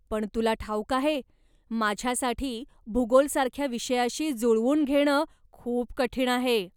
पण तुला ठाऊक आहे, माझ्यासाठी भूगोलासारख्या विषयाशी जुळवून घेणं खूप कठीण आहे.